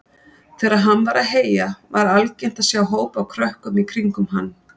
Þegar hann var að heyja var algengt að sjá hóp af krökkum í kringum hann.